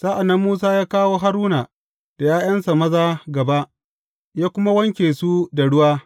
Sa’an nan Musa ya kawo Haruna da ’ya’yansa maza gaba, ya kuma wanke su da ruwa.